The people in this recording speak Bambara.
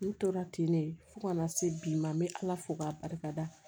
N tora ten ne fo kana se bi ma n bɛ ala fo k'a barikada